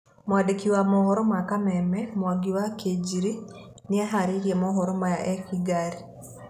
Mwandĩki wa mohoro ma Kameme Mwangi wa Kĩnjiri nĩaharĩirie moohoro Maya e Kĩgari.